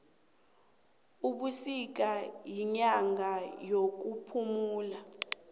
ubisika yinyanga yekuphuma kwengoma